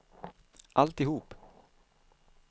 alltihop